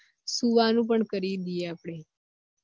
સુવાનું પણ કરી દયે આપડે